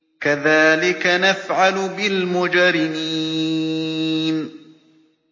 كَذَٰلِكَ نَفْعَلُ بِالْمُجْرِمِينَ